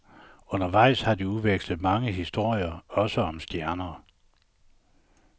Undervejs har de udvekslet mange historier, også om stjerner.